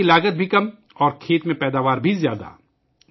کھیتی کی لاگت بھی کم اور کھیت میں پیداوار بھی زیادہ